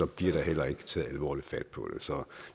bliver der heller ikke taget alvorligt fat på det så